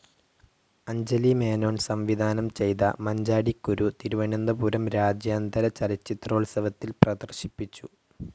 അഞ്ജലി മേനോൻ സംവിധാനം ചെയ്ത മഞ്ചാടിക്കുരു തിരുവനന്തപുരം രാജ്യാന്തര ചലച്ചിത്രോൽസവത്തിൽ പ്രദർശിപ്പിച്ചു.